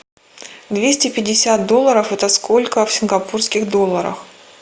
двести пятьдесят долларов это сколько в сингапурских долларах